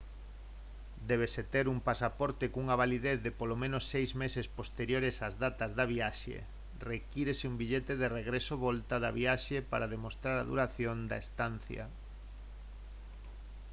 débese ter un pasaporte cunha validez de polo menos seis meses posteriores ás datas da viaxe. requírese un billete de regreso/volta da viaxe para demostrar a duración da estancia